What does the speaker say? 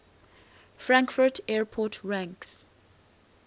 frankfurt airport ranks